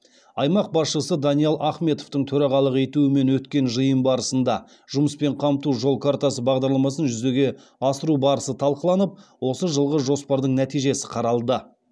аймақ басшысы даниал ахметовтің төрағалық етуімен өткен жиын барысында жұмыспен қамту жол картасы бағдарламасын жүзеге асыру барысы талқыланып осы жылғы жоспардың нәтижесі қаралды